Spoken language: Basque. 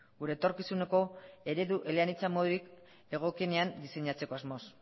gure etorkizuneko eredu eleanitza modurik egokienean diseinatzeko asmoz